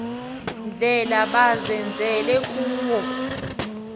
ndlela bazenzele kuwo